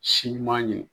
Si ɲuman ye